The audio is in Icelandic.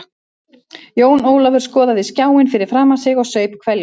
Jón Ólafur skoðaði skjáinn fyrir framan sig og saup hveljur.